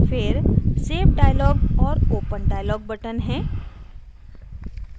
फिर save dialog और open dialog button हैं